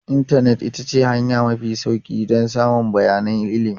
Intanet ita ce hanya mafi sauri don samun bayanan ilimi.